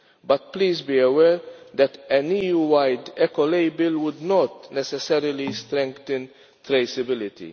but please be aware that an EU wide Eco label would not necessarily strengthen traceability.